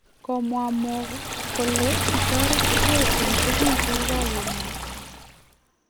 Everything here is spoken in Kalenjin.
Komwa Mo kole kitoreti geeh en tugul chekikakimwachi